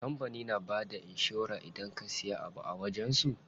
Kampanin na bada inshora idan ka siya abu a wajen su.